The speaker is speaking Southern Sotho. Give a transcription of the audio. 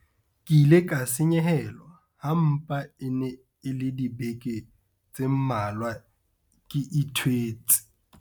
Ke ile ka senyehelwa ha mpa e ne e le dibeke tse mmalwa ke ithwetse.